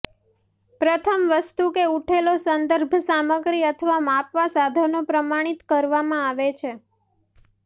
પ્રથમ વસ્તુ કે ઊઠેલો સંદર્ભ સામગ્રી અથવા માપવા સાધનો પ્રમાણિત કરવામાં આવે છે